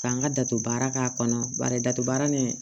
K'an ka dato baara k'a kɔnɔ bari dato baara nin